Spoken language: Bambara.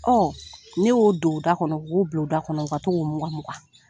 Ɔn ne y'o don u da kɔnɔ k'o bila u da kɔnɔ u ka to ka o mukan mukan